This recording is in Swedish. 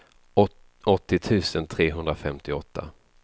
åttio tusen trehundrafemtioåtta